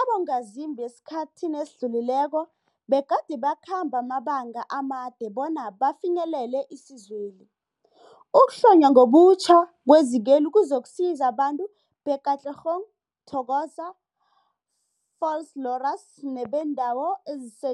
abongazimbi esikhathini esidlulileko begade bakhamba amabanga amade bona bafinyelele isizweli. Ukuhlonywa ngobutjha kwezikweli kuzokusiza abantu be-Katlehong, Thokoza, Vosloorus nebeendawo ezise